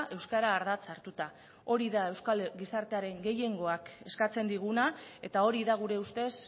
euskara ardatz hartuta hori da euskal gizartearen gehiengoak eskatzen diguna eta hori da gure ustez